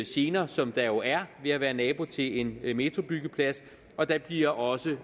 gener som der jo er ved at være nabo til en metrobyggeplads og der bliver også